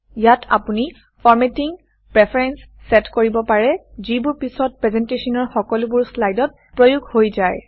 ইয়াত আপুনি formatting preference set কৰিব পাৰে যিবোৰ পিছত প্ৰেজেণ্টেশ্যনৰ সকলোবোৰ শ্লাইডত প্ৰয়োগ হৈ যায়